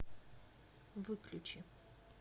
выключи